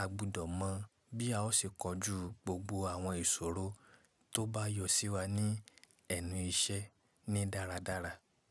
a gbudọ̀ mọ̀ bí a ó ṣe kojú gbogbo àwọn ìṣòro tó bá yọ sí wa ní ẹnu iṣẹ́ ní dáradára.